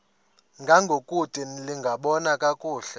ngangokude lingaboni kakuhle